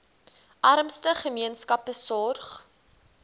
armste gemeenskappe sorg